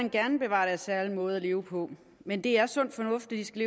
end gerne bevare deres særlige måde at leve på men det er sund fornuft at de skal